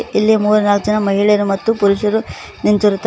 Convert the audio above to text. ಇಲ್ಲಿ ಮೂರ್ನಾಲ್ ಜನ ಮಹಿಳೆಯರು ಮತ್ತು ಪುರುಷರು ನಿಂತಿರುತ್ತಾರೆ.